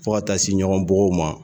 Fo ka taa se ɲɔgɔn bugɔw ma